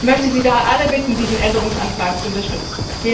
Ich möchte Sie daher alle bitten, diesen Änderungsantrag zu unterstützen!